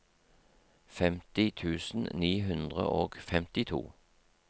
femti tusen ni hundre og femtito